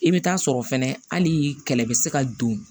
I bɛ taa sɔrɔ fɛnɛ hali kɛlɛ bɛ se ka don